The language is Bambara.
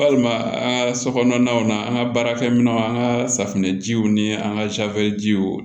Walima an ka sokɔnɔnaw na an ka baarakɛminɛnw an ka safinɛjiw ni an ka jiw